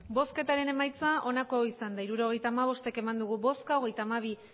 hirurogeita hamabost eman dugu bozka hogeita hamabi